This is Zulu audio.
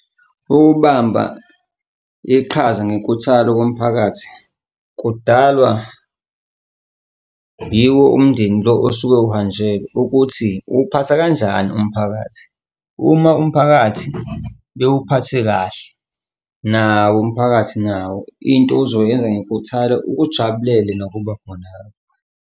Ukubamba iqhaza ngenkuthalo komphakathi kudalwa yiwo umndeni lo osuke uhanjelwe ukuthi uwuphatha kanjani umphakathi. Uma umphakathi bewuphathe kahle, nawo umphakathi nawo into uzoyenza ngenkuthalo ukujabulele nokuba khona .